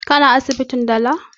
Ka na asibitin dala?